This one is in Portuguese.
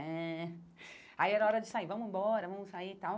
Eh aí era hora de sair, vamos embora, vamos sair e tal.